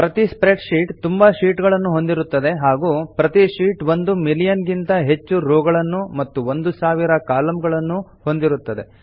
ಪ್ರತೀ spreadsheet ತುಂಬಾ sheet ಗಳನ್ನು ಹೊಂದಿರುತ್ತದೆ ಹಾಗೂ ಪ್ರತೀ ಶೀಟ್ ಒಂದು ಮಿಲಿಯನ್ ಗಿಂತ ಹೆಚ್ಚು ರೋ ಗಳನ್ನು ಮತ್ತು ಒಂದು ಸಾವಿರ ಕಾಲಂಗಳನ್ನು ಹೊಂದಿರುತ್ತದೆ